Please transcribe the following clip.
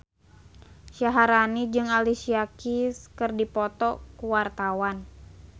Syaharani jeung Alicia Keys keur dipoto ku wartawan